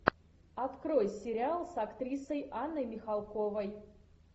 открой сериал с актрисой анной михалковой